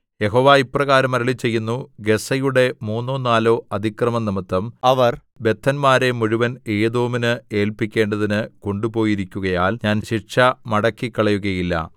യഹോവ ഇപ്രകാരം അരുളിച്ചെയ്യുന്നു ഗസ്സയുടെ മൂന്നോ നാലോ അതിക്രമംനിമിത്തം അവർ ബദ്ധന്മാരെ മുഴുവൻ ഏദോമിന് ഏല്പിക്കേണ്ടതിന് കൊണ്ടുപോയിരിക്കുകയാൽ ഞാൻ ശിക്ഷ മടക്കിക്കളയുകയില്ല